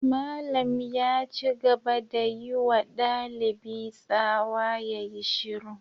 Malam ya ci gaba da yi wa dalibi tsawa ya yi shiru.